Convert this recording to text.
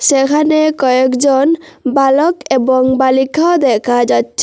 এখানে কয়েকজন বালক এবং বালিখাও দেখা যাচ্ছে।